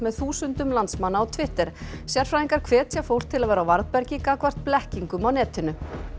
þúsundum landsmanna á Twitter sérfræðingar hvetja fólk til að vera á varðbergi gagnvart blekkingum á netinu